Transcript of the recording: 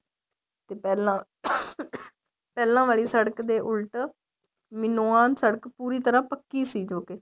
ਤੇ ਪਹਿਲਾ ਪਹਿਲਾ ਵਾਲੀ ਸੜਕ ਦੇ ਉੱਲਟ ਮਿਨੋਅਨ ਪੂਰੀ ਤਰ੍ਹਾਂ ਪੱਕੀ ਸੀ ਜੋਕੇ